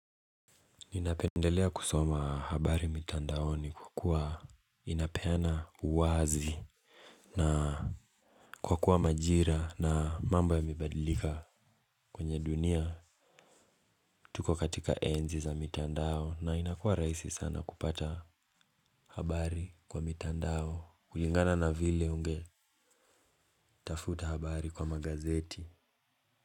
Ninapendelea kusoma habari mitandaoni kwa kuwa inapeana uwazi na kwa kuwa majira na mambo yamebadilika kwenye dunia. Tuko katika enzi za mitandao na inakuwa rahisi sana kupata habari kwa mitandao kulingana na vile unge tafuta habari kwa magazeti.